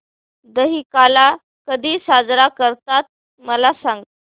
दहिकाला कधी साजरा करतात मला सांग